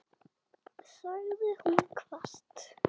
sagði hún hvasst.